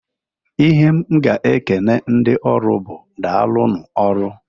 Ihe m ga-ekene ndị ọrụ bụ, "Daalụnụ ọrụ!"